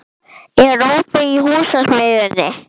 Hagbarður, er opið í Húsasmiðjunni?